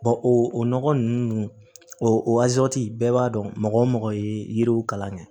o nɔgɔ ninnu o bɛɛ b'a dɔn mɔgɔ o mɔgɔ ye yiriw kalan kɛ